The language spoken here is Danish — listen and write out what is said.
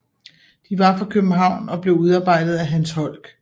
De var for København og blev udarbejdet af Hans Holck